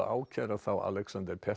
ákæra þá Alexander